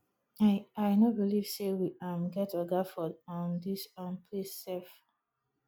i i no believe say we um get oga for um dis um place sef